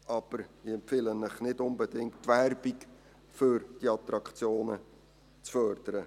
Aber ich empfehle Ihnen nicht unbedingt, die Werbung für die Attraktionen zu fördern.